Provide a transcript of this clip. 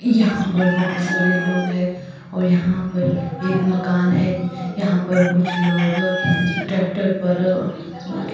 यहां पर बहुत सारे लोग हैं और यहां पर एक मकान है यहां पर कुछ लोग ट्रैक्टर पर